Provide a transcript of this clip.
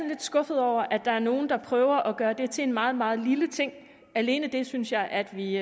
lidt skuffet over at der er nogle der prøver at gøre det til en meget meget lille ting alene det synes jeg at vi